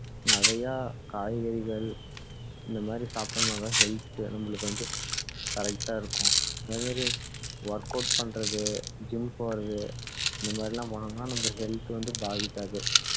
நிறையா காய்கறிகள் இந்த மாதிரி சாப்பிட்டோம்னா தான் health நம்மளுக்கு வந்து correct டா இருக்கும் அதே மாதிரி work out பண்ணுறது gym போறது இந்த மாதிரி எல்லாம் போணோம்னா நம்ம health வந்து பாதிக்காது